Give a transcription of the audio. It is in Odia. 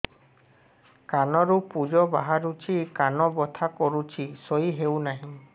କାନ ରୁ ପୂଜ ବାହାରୁଛି କାନ ବଥା କରୁଛି ଶୋଇ ହେଉନାହିଁ